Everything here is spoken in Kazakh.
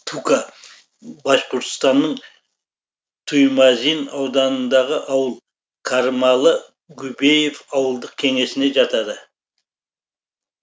тука башқұртстанның туймазин ауданындағы ауыл кармалы губеев ауылдық кеңесіне жатады